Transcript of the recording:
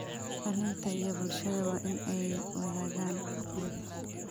Dhalinta iyo bulshooyinka waa in ay wadaagaan aqoonta.